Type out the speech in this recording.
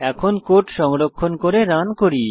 এখন কোড সংরক্ষণ করে রান করি